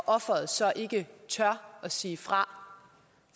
offeret så ikke tør at sige fra